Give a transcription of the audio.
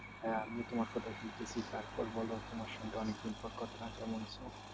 হ্যাঁ আমি তোমার কথা শুনতেছি তারপর বলো তোমার সঙ্গে অনেকদিন পর কথা কেমন আছো?